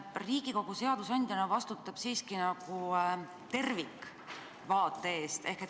Riigikogu seadusandjana vastutab siiski nagu tervikvaate eest.